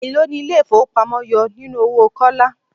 Elo ni ilé ifowopamo yọ nínú owó Kọ́lá?